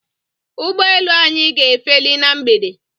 Ụgbọelu anyị ga-efeli na mgbede